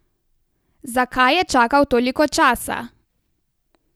Zakaj je čakal toliko časa?